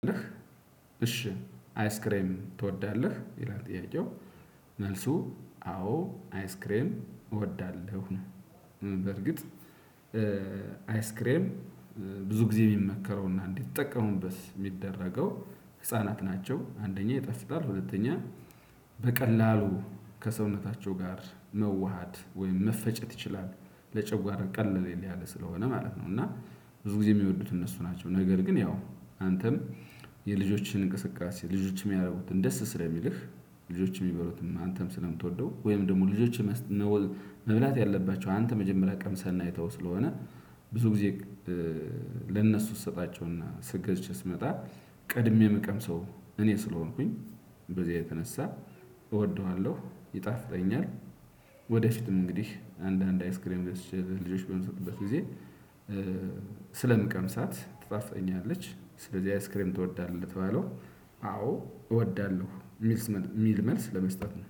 እሺ አይስክሬም ትወዳለህ ይላል? ጥያቄው መልሱ አዎ አይስክሬም እወዳለሁ። በርግጥ አይስክሬም ብዙ ጊዜ የሚመከረውና እንዲጠቀሙበት የሚደረገው ህፃናት ናቸው። አንደኛ ይጣፍጣል። ሁለተኛ በቀላሉ ከሰውነታቸው ጋር መዋሃድ ወይም መፈጨት ይችላል ለጨጓራ ቀለል ስለሆነ ማለት ነው። እና ብዙ ጊዜ የሚወዱት እነሱ ናቸው። ነገር ግን ያው አንተም የልጆችን እንቅስቃሴ ልጆችም ያደረጉትን ደስ ስለሚልህ ልጆችን የሚበሉትን አንተም ስለምትወደው ወይም ደግሞ ልጆችን መወል መብላት ያለባቸው አንተ መጀመሪያ ቀምሰህና አይተኸው ስለሆነ ብዙ ጊዜ ለእነሱ ስሰጣቸውና ገዝች ስመጣ ቀድሜ የምቀምሰው እኔ ስለሆንኩኝ በዚያ የተነሳ እወደዋለሁ ይጣፍጠኛል። ወደፊትም እንግዲህ አንዳንድ አይስክሬም ገዝቸ ለልጆች በምሰጥበት ጊዜ ስለምቀምሳት ትጣፍተኛለች። ስለዚህ አይስክሪም ትወዳለች ለተባለው አዎ እወዳለሁ የሚል መልስ ለመስጠት ነው